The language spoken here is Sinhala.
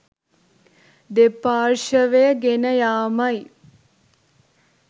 දෙපාර්ශ්වය ගෙන යාමයි